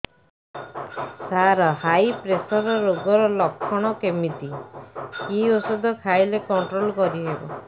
ସାର high pressure ରୋଗର ଲଖଣ କେମିତି କି ଓଷଧ ଖାଇଲେ କଂଟ୍ରୋଲ କରିହେବ